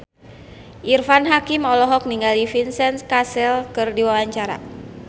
Irfan Hakim olohok ningali Vincent Cassel keur diwawancara